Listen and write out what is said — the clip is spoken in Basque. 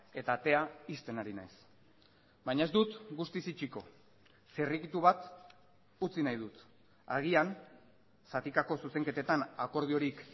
eta atea ixten ari naiz baina ez dut guztiz itxiko zirrikitu bat utzi nahi dut agian zatikako zuzenketetan akordiorik